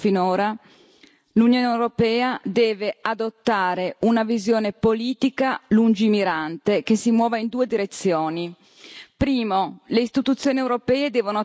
Anziché fare come si è fatto finora, l'Unione europea deve adottare una visione politica lungimirante che si muova in due direzioni.